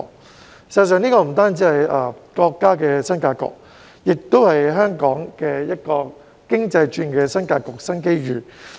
事實上，這不單是國家的新格局，也是香港經濟轉型的新格局、新機遇。